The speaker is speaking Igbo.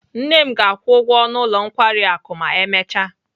Nne m ga-akwụ ụgwọ ọnụ ụlọ nkwari akụ ma emechaa.